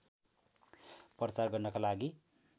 प्रचार गर्नका लागि